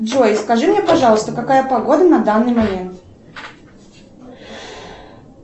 джой скажи мне пожалуйста какая погода на данный момент